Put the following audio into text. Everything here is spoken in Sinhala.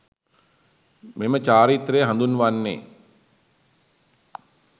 මෙම චාරිත්‍රය හඳුන්වන්නේ